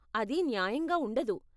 అది న్యాయంగా ఉండదు.